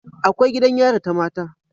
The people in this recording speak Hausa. Akwai gidan yari ta mata